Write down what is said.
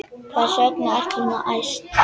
Hvers vegna ertu svona æst?